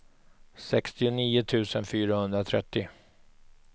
sextionio tusen fyrahundratrettio